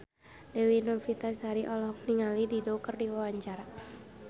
Dewi Novitasari olohok ningali Dido keur diwawancara